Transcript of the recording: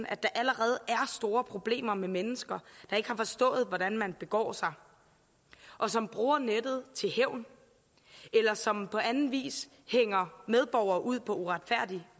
at der allerede er store problemer med mennesker der ikke har forstået hvordan man begår sig og som bruger nettet til hævn eller som på anden vis hænger medborgere ud på uretfærdig